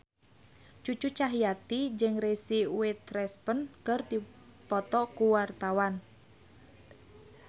Cucu Cahyati jeung Reese Witherspoon keur dipoto ku wartawan